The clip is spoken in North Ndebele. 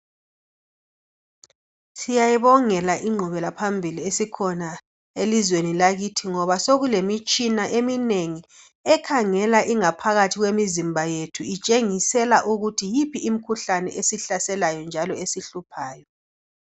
Siyayibongela ingqubelaphambili esikhona elizweni lakithi ngoba sokulemitshina eminengi ekhangela ingaphakathi kwemizimba yethu itshengisela ukuthi yiphi imikhuhlane esihlaselayo njalo esihluphayo.